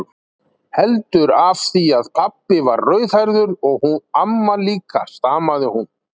Heldur af því að pabbi var rauðhærður og amma líka, stamaði hún.